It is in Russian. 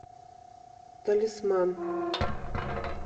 талисман